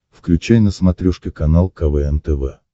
включай на смотрешке канал квн тв